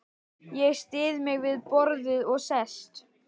Ég styð mig við borðið og sest.